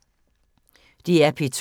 DR P2